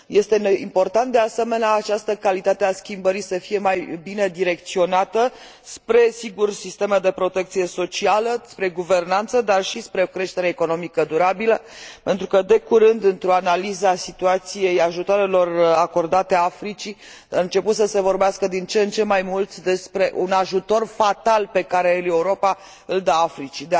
Este important, de asemenea, ca această calitate a schimbării să fie mai bine direcționată, spre, sigur, sisteme de protecție socială, spre guvernanță, dar și spre o creștere economică durabilă, pentru că de curând, într o analiză a situației ajutoarelor acordate Africii, începuse să se vorbească din ce în ce mai mult despre un ajutor fatal pe care Europa îl dă Africii.